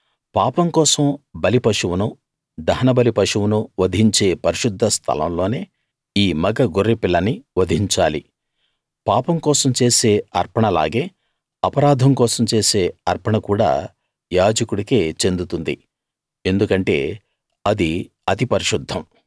పాపం కోసం బలి పశువునూ దహనబలి పశువునూ వధించే పరిశుద్ధ స్థలం లోనే ఈ మగ గొర్రెపిల్లని వధించాలి పాపం కోసం చేసే అర్పణలాగే అపరాధం కోసం చేసే అర్పణ కూడా యాజకుడికే చెందుతుంది ఎందుకంటే అది అతి పరిశుద్ధం